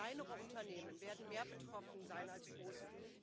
Kleinere Unternehmen werden mehr betroffen sein als große.